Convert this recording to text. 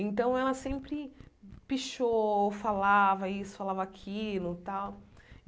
Então, ela sempre pichou, falava isso, falava aquilo.